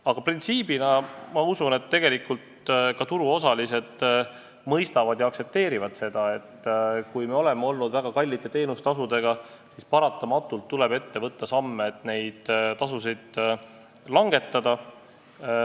Aga ma usun, et tegelikult ka turuosalised seda printsiibina mõistavad ja aktsepteerivad, et kui meil on olnud väga kõrged teenustasud, siis paratamatult tuleb ette võtta samme, et neid langetada.